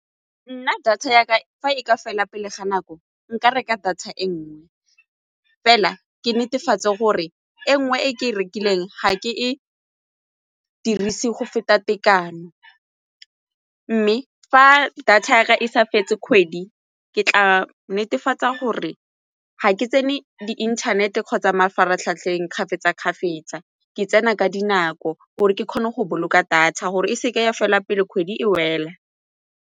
Nna data ya ka e ka fela pele ga nako nka reka data e nngwe, fela ke netefatse gore e nngwe e ke e rekileng ga ke e dirise go feta tekano mme fa data ya ka e sa fetse kgwedi ke tla netefatsa gore ga ke tsene di-internet-e kgotsa mafaratlhatlheng kgafetsa-kgafetsa ke tsena ka dinako gore ke kgone go boloka data gore e seke ya fela pelo kgwedi e wela.